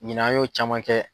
Ɲina an y'o caman kɛ.